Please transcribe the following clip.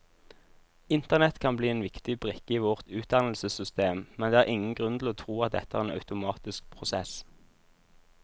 Internett kan bli en viktig brikke i vårt utdannelsessystem, men det er ingen grunn til å tro at dette er en automatisk prosess.